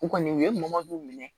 U kɔni u ye mɔmɔw minɛ